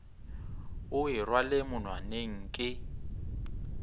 o e rwale monwaneng ke